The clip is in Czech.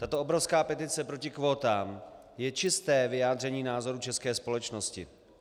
Tato obrovská petice proti kvótám je čisté vyjádření názoru české společnosti.